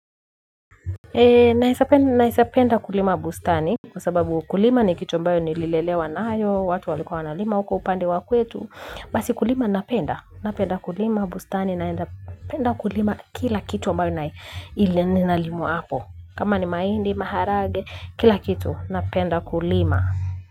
Naizapenda kulima bustani. Kwa sababu kulima ni kitu ambayo nililelewa naayo, watu walikua wanalima huko upande wa kwetu. Basi kulima napenda, napenda kulima bustani naenda kulima kila kitu mbayo inalimwa hapo. Kama ni mahindi, maharage, kila kitu, napenda kulima.